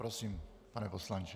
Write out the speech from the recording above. Prosím, pane poslanče.